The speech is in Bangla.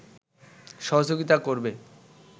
সহযোগিতা করবে